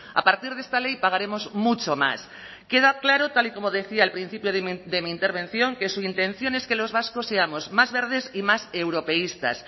a partir de esta ley pagaremos mucho más queda claro tal y como decía al principio de mi intervención que su intención es que los vascos seamos más verdes y más europeístas